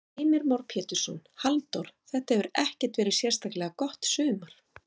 Heimir Már Pétursson: Halldór, þetta hefur ekkert verið sérstaklega gott sumar?